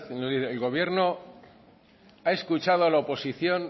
el gobierno ha escuchado a la oposición